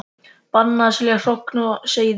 Bannað að selja hrogn og seiði